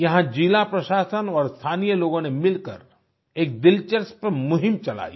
यहाँ जिला प्रशासन और स्थानीय लोगों ने मिलकर एक दिलचस्प मुहिम चलाई